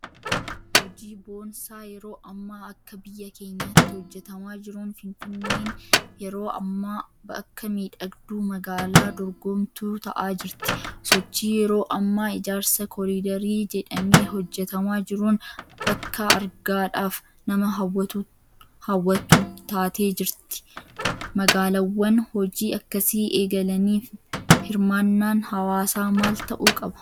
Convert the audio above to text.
Hojii boonsaa yeroo ammaa akka biyya keenyaatti hojjetamaa jiruun Finfinneen yeroo ammaa bakka miidhagduu magaalaa dorgomtuu ta'aa jirti. Sochii yeroo ammaa ijaarsa Koliidarii jedhamee hojjetamaa jiruun bakka argaadhaaf nama hawwattu taatee jirti. Magaalaawwan hojii akkasii eegalaniif hirmaannaan hawaasaa maal ta'uu qaba?